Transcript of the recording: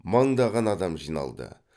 мыңдаған адам жиналды